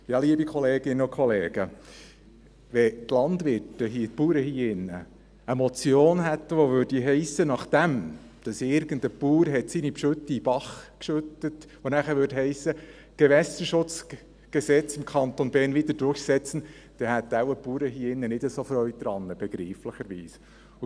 Liebe Kolleginnen und Kollegen, wenn die Landwirte, die Bauern hier, nachdem irgendein Bauer seine Gülle in einen Bach geschüttet hätte, eine Motion hätten, die heissen würde: «Gewässerschutzgesetz im Kanton Bern wieder durchsetzen», dann hätten wohl die Bauern hier begreiflicherweise nicht so Freude daran.